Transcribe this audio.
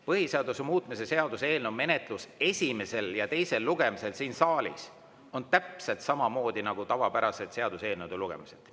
Põhiseaduse muutmise seaduse eelnõu menetlus esimesel ja teisel lugemisel siin saalis on täpselt samamoodi nagu tavapäraselt seaduseelnõude lugemised.